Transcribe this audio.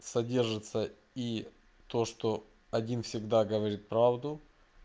содержится и то что один всегда говорит правду